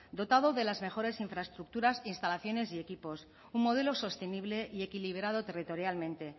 dotado de las mejores infraestructuras instalaciones y equipos un modelo sostenible y equilibrado territorialmente